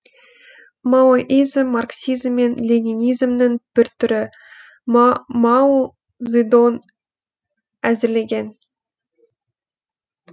маоизм марксизм мен ленинизмнің бір түрі мау зыдоң әзірлеген